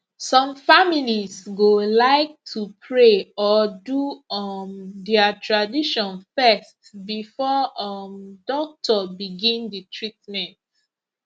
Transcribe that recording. some families go like to pray or do um their tradition first before um doctor begin the treatment